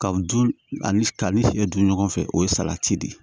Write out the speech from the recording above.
Ka du ani ka ni fiɲɛ dun ɲɔgɔn fɛ o ye salati de ye